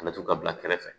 A bɛ to ka bila kɛrɛfɛ